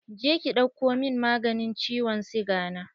Je ki ɗauko min maganin ciwon siga na!